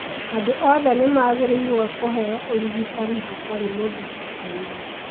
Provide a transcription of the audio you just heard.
Andũ othe nĩ magĩrĩirũo kũheo ũrigitani hatarĩ mũthutũkanio.